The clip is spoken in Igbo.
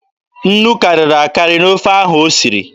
Nnu karịrị akarị n'ofe ọha ahụ o siri.